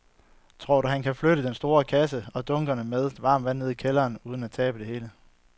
Tror du, at han kan flytte den store kasse og dunkene med vand ned i kælderen uden at tabe det hele?